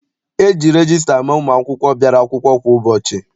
E ji regista ama ụmụ akwụkwọ bịara akwụkwọ kwa ụbọchị.